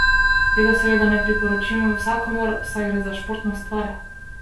Tega seveda ne priporočim vsakomur, saj gre za športno stvar!